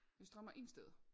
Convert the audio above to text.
Det strammer ingen steder